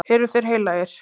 Eru þeir heilagir?